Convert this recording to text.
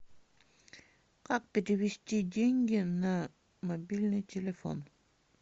как перевести деньги на мобильный телефон